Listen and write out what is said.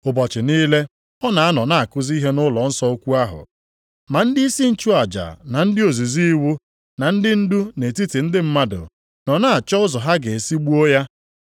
Ụbọchị niile, ọ na-anọ na-akụzi ihe nʼụlọnsọ ukwu ahụ. Ma ndịisi nchụaja na ndị ozizi iwu na ndị ndu nʼetiti ndị mmadụ, nọ na-achọ ụzọ ha ga-esi gbuo ya.